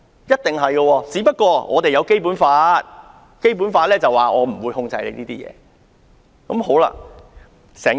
然而，香港實行《基本法》，《基本法》訂明中國不會控制香港的言論自由。